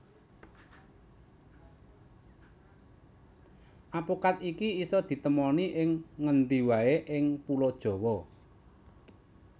Apokat iki isa ditemoni ing ngendi waé ing Pulo Jawa